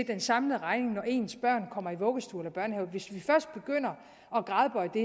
den samlede regning når ens børn kommer i vuggestue eller børnehave hvis vi først begynder at gradbøje det